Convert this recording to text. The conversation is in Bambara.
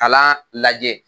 Ala lajɛ